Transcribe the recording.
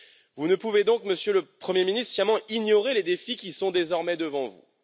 Vous ne pouvez donc, Monsieur le Premier Ministre, sciemment ignorer les défis qui sont désormais devant vous.